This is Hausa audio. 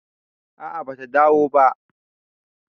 a a bata dawo ba